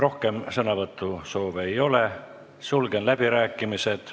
Rohkem sõnavõtusoove ei ole, sulgen läbirääkimised.